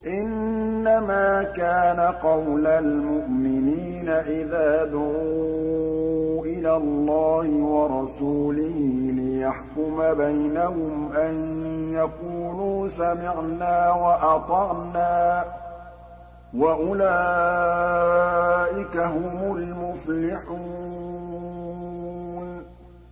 إِنَّمَا كَانَ قَوْلَ الْمُؤْمِنِينَ إِذَا دُعُوا إِلَى اللَّهِ وَرَسُولِهِ لِيَحْكُمَ بَيْنَهُمْ أَن يَقُولُوا سَمِعْنَا وَأَطَعْنَا ۚ وَأُولَٰئِكَ هُمُ الْمُفْلِحُونَ